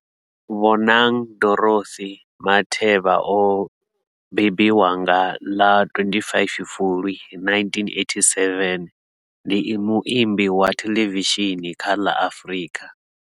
Bonang Dorothy Matheba o mbebiwa nga ḽa 25 Fulwi 1987, ndi muambi wa thelevishini kha la Afrika.